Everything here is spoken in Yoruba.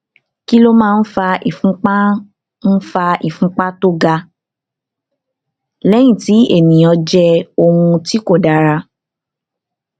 kí ló máa ń fa ìfúnpá ń fa ìfúnpá tó ga lẹyìn tí ènìyàn jẹ oúnjẹ tí kò dára